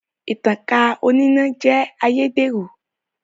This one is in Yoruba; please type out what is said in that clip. Ìtankà oníná jẹ́ ayédèrú